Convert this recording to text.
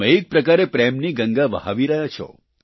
તમે એક પ્રકારે પ્રેમની ગંગા વહાવી રહ્યા છો